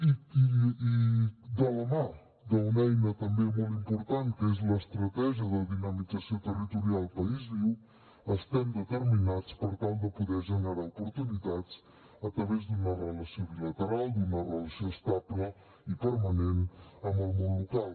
i de la mà d’una eina també molt important que és l’estratègia de dinamització territorial país viu estem determinats per tal de poder generar oportunitats a través d’una relació bilateral d’una relació estable i permanent amb el món local